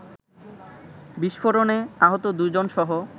বিস্ফোরণে আহত দু’জনসহ